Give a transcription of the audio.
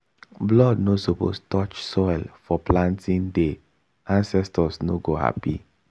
blood no suppose touch soil for planting day ancestors no go happy.